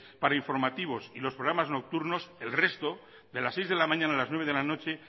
para informativos y programas nocturnos el resto de las seis de la mañana a las nueve de la noche